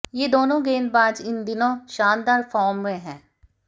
ये दोनों गेंदबाज इन दिनों शानदार फार्म में हैं